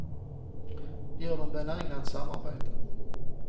Det gör dem benägna att samarbeta.